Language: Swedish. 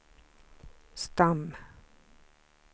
stam